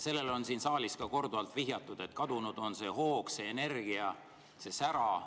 Sellele on siin saalis ka korduvalt vihjatud, et kadunud on see hoog, see energia, see sära.